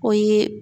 O ye